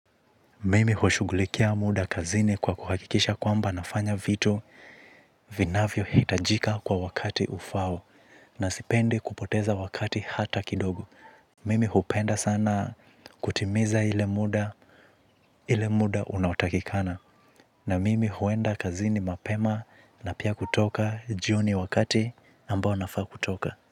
Mimi hushugulikia muda kazini kwa kuhakikisha kwamba nafanya vitu vinavyo hitajika kwa wakati ufao na sipendi kupoteza wakati hata kidogo. Mimi hupenda sana kutimiza ile muda unaotakikana. Na mimi huenda kazini mapema na pia kutoka jioni wakati ambao nafaa kutoka.